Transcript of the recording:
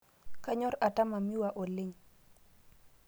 Kanyor atama miwa oleng